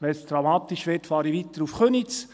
Wenn es dramatisch wird, fahre ich weiter nach Köniz.